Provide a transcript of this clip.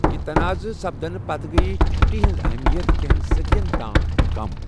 یہِ تناعضہٕ سپدٕنہٕ پتہٕ گٔیہٕ چُھٹی ہِنٛز اہمِیَت کینٛہَن صٔدِین تام کَم۔